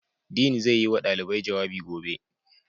Dean zai yi wa ɗalibai jawabi gobe.